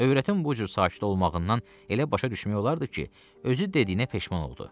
Övrətin bu cür sakit olmağından elə başa düşmək olardı ki, özü dediyinə peşman oldu.